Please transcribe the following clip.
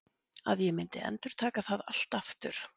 Að ég myndi endurtaka það allt aftur?